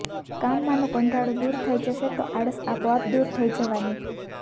કામમાંનો કંટાળો દૂર થઈ જશે તો આળસ આપોઆપ દૂર થઈ જવાની